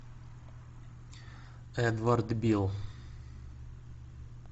эдвард бил